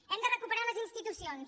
hem de recuperar les institucions